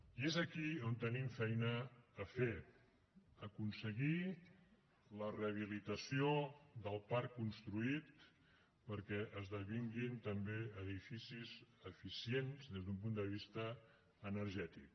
i és aquí on tenim feina a fer aconseguir la rehabilitació del parc construït perquè esdevinguin també edificis eficients des d’un punt de vista energètic